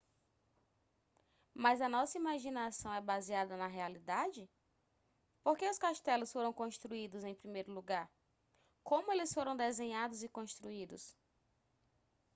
mas a nossa imaginação é baseada na realidade por que os castelos foram construídos em primeiro lugar como eles foram desenhados e construídos